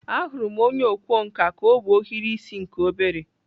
Ahụrụ m onye ọkwá nkà ka o bu ohiri isi nke obere.